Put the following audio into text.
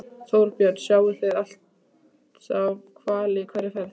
Þorbjörn: Sjáið þið alltaf hvali í hverri ferð?